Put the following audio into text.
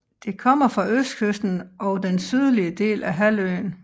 Det kommer fra østkysten og den sydlige del af halvøen